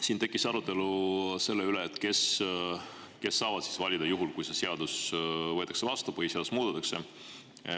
Siin tekkis arutelu selle üle, et kes saavad siis valida, kui see seadus võetakse vastu ja põhiseadust muudetakse.